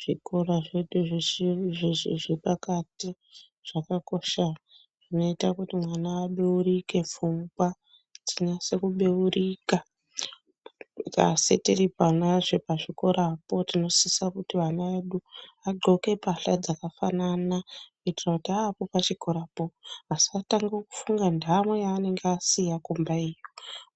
Zvikora zvedu zvizhinji zveshe zvepakati zvakakosha. Zvinoita kuti mwana abeurike pfungwa dzinase kubeurika. Asi tiriponazve pachikorapo tinosisa kuti vana vedu vadxoke pahla dzakafanana kuitira kuti aapo pachikorapo asatanga kufunga ntamo yaanenge asiya kumbayo,